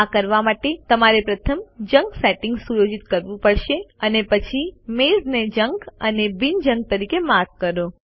આ કરવા માટે તમારે પ્રથમ જંક સેટિંગ્સ સુયોજિત કરવું પડશે અને પછી મેઈલ્સને જંક અને બિન જંક તરીકે માર્ક કરો